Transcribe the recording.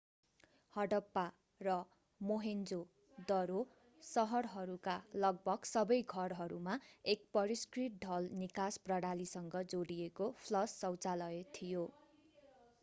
हडप्पा र मोहेन्जो-दरो शहरहरूका लगभग सबै घरहरूमा एक परिष्कृत ढल निकास प्रणालीसँग जोडिएको फ्लश शौचालय थियो